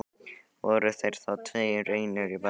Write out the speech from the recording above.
Voru þeir þá tveir einir í bænum.